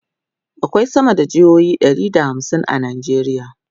akwai sama da jami'o'i Ɗari da hamsin a nigeria